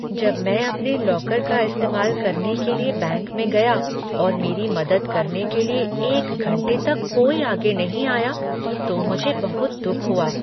जब मैं अपने लॉकर का इस्तेमाल करने के लिए बैंक में गया और मेरी मदद करने के लिए एक घंटे तक कोई आगे नहीं आया तो मुझे बहुत दुख हुआ।